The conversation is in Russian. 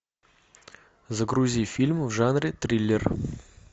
загрузи фильм в жанре триллер